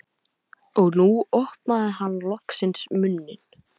Og nú opnaði hann loksins munninn.